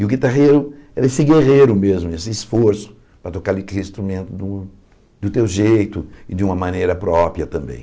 E o guitarrero é esse guerreiro mesmo, esse esforço para tocar aquele instrumento de um do teu jeito e de uma maneira própria também.